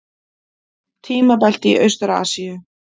Tímabelti í Austur-Asíu.